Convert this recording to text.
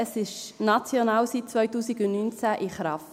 Es ist national seit 2019 in Kraft.